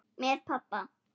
Með pabba.